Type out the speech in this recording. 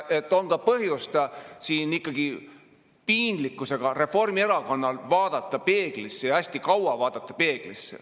On ikkagi põhjust ka Reformierakonnal piinlikkusega vaadata peeglisse, ja hästi kaua vaadata.